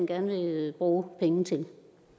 gerne vil bruge penge til